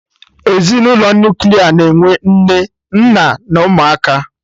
Ezinụlọ Nuklia na-enwe Nne, nna na ụmụaka